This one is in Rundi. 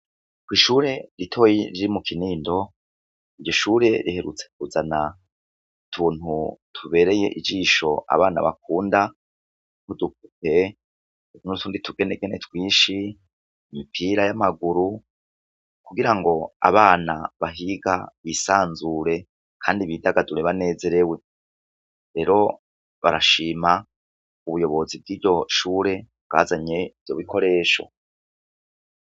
Kw'ishure ritoyi ryo mukinindo, ishure riherutse kuzana utuntu tubereye ijisho abana bakunda, udupupe, nutundi tugenegene twinshi, imupira y'amaguru kugira ngo abana bahiga bisazure kandi bidagadure banezerewe, rero barashima ubuyobozi bwiryo shure bwazanye ivyo bikoresho.